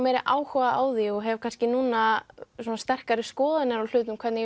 meiri áhuga á því og hef kannski núna svona sterkari skoðanir á hlutum hvernig